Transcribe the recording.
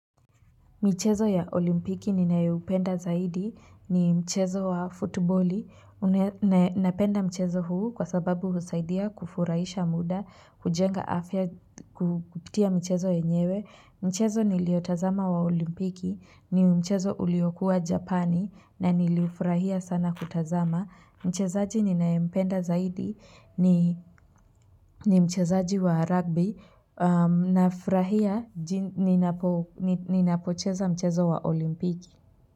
Michezo ya olimpiki ninayoupenda zaidi ni mchezo wa futiboli. Napenda mchezo huu kwa sababu husaidia kufuraisha muda, kujenga afya kupitia mchezo yenyewe. Mchezo niliotazama wa olimpiki, ni mchezo uliokuwa japani na niliufurahia sana kutazama. Mchezaji ninayempenda zaidi ni mchezaji wa rugby nafurahia ninapocheza mchezo wa olimpiki.